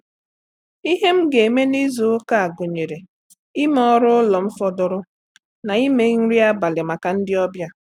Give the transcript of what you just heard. . Ihe m ga-eme n’izu ụka gụnyere ime ọrụ ụlọ m fọdụrụ na ime nri abalị maka ndị ọbịa.